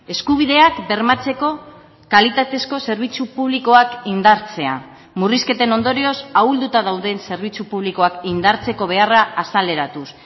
eskubideak bermatzeko kalitatezko zerbitzu publikoak indartzea murrizketen ondorioz ahulduta dauden zerbitzu publikoak indartzeko beharra azaleratuz